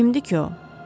Kimdir ki o?